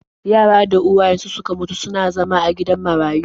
Yaran da uwayensu suka mutu suna zama a gidan marayu.